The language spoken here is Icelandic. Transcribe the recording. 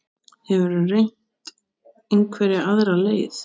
Hefurðu reynt einhverja aðra leið?